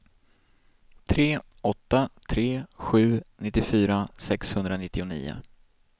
tre åtta tre sju nittiofyra sexhundranittionio